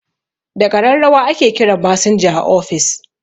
Da ƙararrawa ake kiran masinja a office